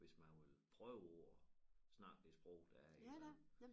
Hvis man vil prøve på at snakke det sprog der er i æ land